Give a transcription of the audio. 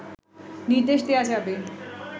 নির্দেশ দেওয়া যাবে